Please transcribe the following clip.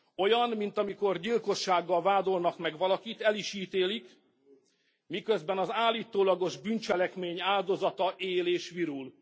Olyan, mint amikor gyilkossággal vádolnak meg valakit, el is ítélik, miközben az állítólagos bűncselekmény áldozata él és virul.